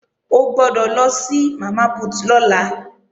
O gbọ́dọ̀ lọ sí Mama Put lọ́la